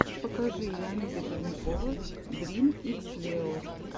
покажи леонида пермякова дрим икс лео